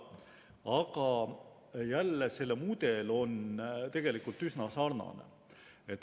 Aga jälle, selle mudel on tegelikult üsna sarnane.